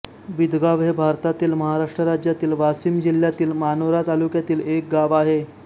बिदगाव हे भारतातील महाराष्ट्र राज्यातील वाशिम जिल्ह्यातील मानोरा तालुक्यातील एक गाव आहे